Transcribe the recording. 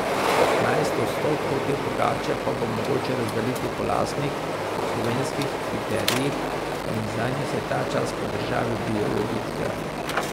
Petnajst odstotkov te pogače pa bo mogoče razdeliti po lastnih, slovenskih kriterijih in zanje se ta čas po državi bijejo bitke.